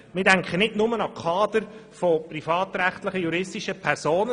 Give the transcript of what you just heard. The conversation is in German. Wir denken nicht nur an die Kader privatrechtlicher juristischer Personen.